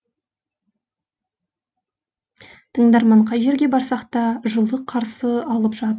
тыңдарман қай жерге барсақ та жылы қарсы алып жатты